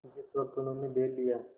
जिस वक्त उन्होंने बैल लिया